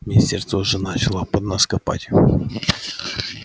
министерство уже начало под нас копать